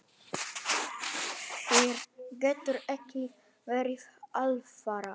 Þér getur ekki verið alvara.